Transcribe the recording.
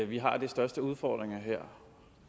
vi har de største udfordringer her